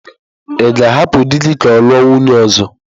Ị ga-ahapụ di gị ka ọ lụọ nwunye ọzọ?